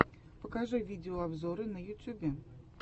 покажи видеообзоры на ютьюбе